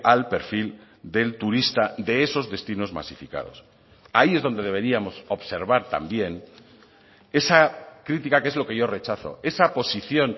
al perfil del turista de esos destinos masificados ahí es donde deberíamos observar también esa crítica que es lo que yo rechazo esa posición